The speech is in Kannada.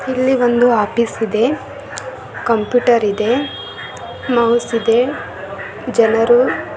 ಇಲ್ಲಿ ಒಂದು ಆಫೀಸ್ ಇದೆ. ಕಂಪ್ಯೂಟರ್ ಇದೆ ಮೌಸ್ಇದೆ ಜ ನರು ಅಲ್ಲಿ.